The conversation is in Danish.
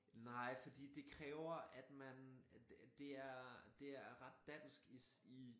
Nej fordi det kræver at man at at det er det er ret dansk i sin